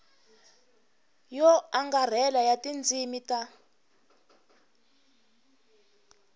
yo angarhela ya tindzimi ta